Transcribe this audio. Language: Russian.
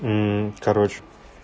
короче